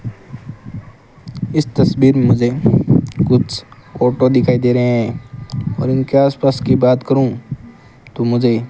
इस तस्वीर मे मुझे कुछ फोटो दिखाई दे रहे है और इनके आस पास की बात करूं तो मुझे --